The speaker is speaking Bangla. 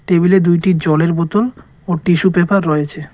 টেবিলে দুইটি জলের বোতল ও টিস্যু পেপার রয়েছে।